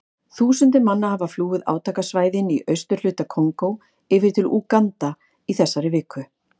Þúsundir manna hafa flúið átakasvæðin í austurhluta Kongó yfir til Úganda í þessari viku.